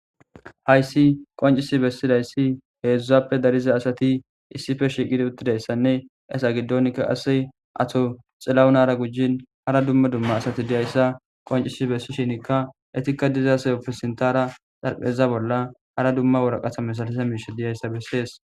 hayssi qoncisi bessidayssi heedzdzappe dariza asati issife shiiqidi uttidayssanne esa giddonkka ase ato xillawunara gujin hara dumma dumma asati diyayssa qoncisi bessi shinikka etikka dizase opfe sintara xarpheza bolla hara dumma woraqatha mesalasa miishe diyayssa bessees